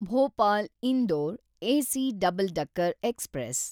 Bhopal Indore AC double decker express